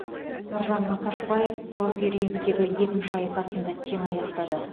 нұржан мақашбаев профи рингтегі екінші айқасын да тең аяқтады